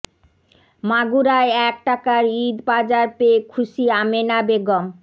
মাগুরায় এক টাকার ঈদ বাজার পেয়ে খুশি আমেনা বেগম